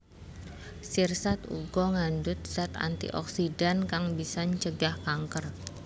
Sirsat uga ngandhut zat antioksidan kang bisa ncegah kanker